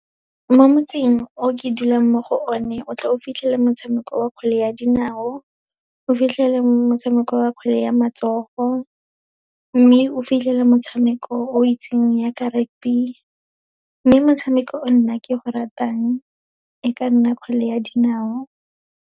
Mo motseng o ke dulang mo go o ne, o tle o fitlhela motshameko wa kgwele ya dinao, o fitlhela motshameko wa kgwele ya matsogo, mme o fitlhela motshameko o itseng ya ka rugby. Mme motshameko o nna ke go ratang, e ka nna kgwele ya dinao.